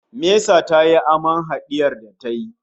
Mesa tayi aman hadiyar da ta yi